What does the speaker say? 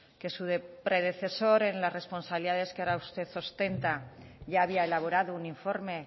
que su predecesor en las responsabilidades que ahora usted ostenta ya había elaborado un informe